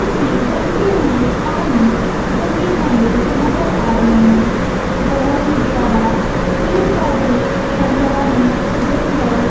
उसे बहते हुए पानी ठंडे ठंडे नजर आ रहे हैं बहोत ही ज्यादा पेड़ पौधे हड़ीयाली जंगल--